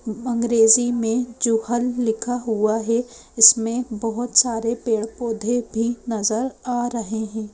अंग्रेजी में जोहल लिखा हुआ है। इसमें बहोत सारे पेड़ पौधे भी नजर आ रहे है।